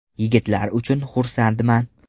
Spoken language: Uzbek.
Yigitlar uchun xursandman.